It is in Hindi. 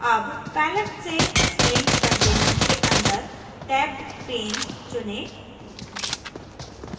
अब palette से swing containers के अंदर tabbedpane चुनें